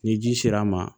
Ni ji sera a ma